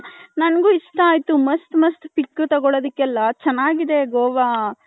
ನಂಗು ಇಷ್ಟ ಆಯ್ತು ಮಸ್ತ್ ಮಸ್ತ್ pic ತಗೊಲೋದಿಕ್ಕೆ ಎಲ್ಲಾ ಚೆನ್ನಾಗಿದೆ ಗೋವ .